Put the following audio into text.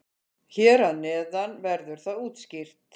Hér að neðan verður það útskýrt.